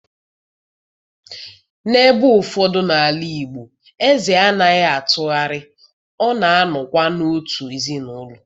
n'ebe ụfọdụ n'ala Igbo, eze anaghị atụgharị, ọ na-anọkwa n'otu ezinụlọ